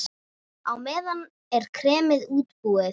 Á meðan er kremið útbúið.